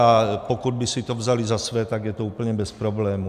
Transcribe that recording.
A pokud by si to vzali za své, tak je to úplně bez problémů.